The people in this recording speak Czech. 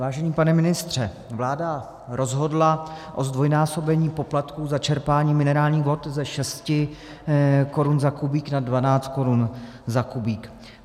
Vážený pane ministře, vláda rozhodla o zdvojnásobení poplatku za čerpání minerálních vod ze 6 korun za kubík na 12 korun za kubík.